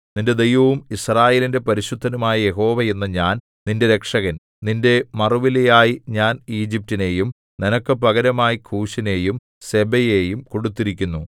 നിന്റെ ദൈവവും യിസ്രായേലിന്റെ പരിശുദ്ധനുമായ യഹോവ എന്ന ഞാൻ നിന്റെ രക്ഷകൻ നിന്റെ മറുവിലയായി ഞാൻ ഈജിപ്റ്റിനെയും നിനക്ക് പകരമായി കൂശിനെയും സെബയെയും കൊടുത്തിരിക്കുന്നു